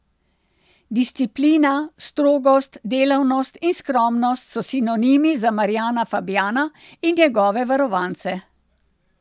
Disciplina, strogost, delavnost in skromnost so sinonimi za Marjana Fabjana in njegove varovance.